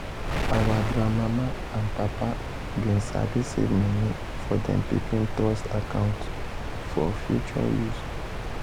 our grand mama and papa been sabi save money for dem pikin trust account for future use.